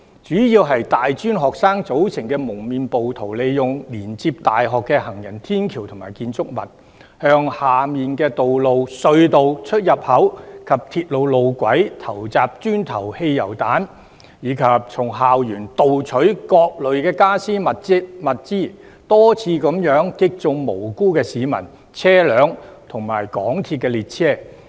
主要由大專學生組成的蒙面暴徒，利用連接大學的行人天橋及建築物，向下面的道路、隧道出入口及鐵路路軌投擲磚頭和汽油彈，以及從校園盜取各類傢俬和物資，多次擊中無辜市民、車輛及港鐵列車。